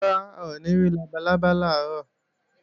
Rárá, a ò ní rí labalábá lọ́la